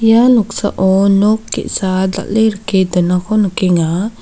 ia noksao nok ge·sa dal·e rike donako nikenga.